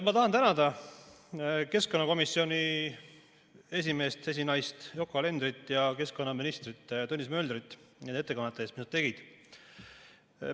Ma tahan tänada keskkonnakomisjoni esimeest või esinaist Yoko Alenderit ja keskkonnaminister Tõnis Möldrit nende ettekannete eest, mis nad tegid.